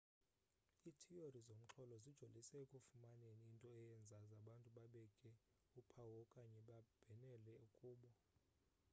ithiyori zomxholo zijolise ekufumaneni into eyenza abantu babeke uphawu okanye babhenele kubo